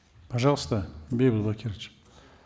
пожалуйста бейбит бакирович